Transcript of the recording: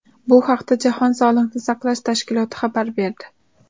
Bu haqda Jahon sog‘liqni saqlash tashkiloti xabar berdi .